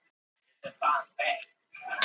Ég hef notið þess að vera hérna.